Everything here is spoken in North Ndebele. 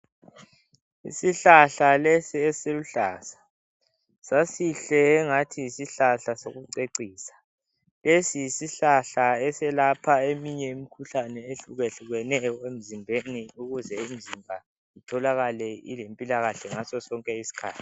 Isihlahla lesi esiluhlaza sasihle engathi yisihlahla sokucecisa lesi yisihlahla eselapha eminye imikhuhlane ehluke hlukeneyo emzimbeni ukuze imizimba itholakale ilempilakahle ngasosonke isikhathi.